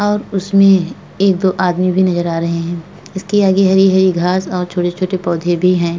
और उसमे एक दो आदमी भी नजर आ रहे हैं। इसके आगे हरी-हरी घास और छोटे-छोटे पोधे भी हैं। ।